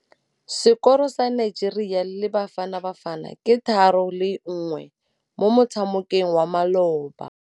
Sekôrô sa Nigeria le Bafanabafana ke 3-1 mo motshamekong wa malôba.